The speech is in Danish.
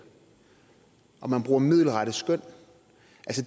og man bruger middelrette skøn